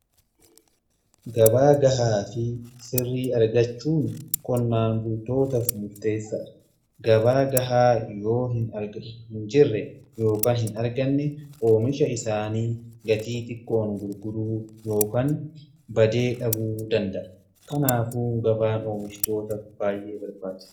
Gabaa gahaa fi sirrii argachuun qonnaan bultootaaf mufteessaadha. Gabaa gahaa yoo hin jirre yookiin hin arganne, oomisha isaanii gatii xiqqoon gurguruu yookaan badee dhabuu danda'a. Kanaafuu gabaan oomishtoota baay'ee barbaada.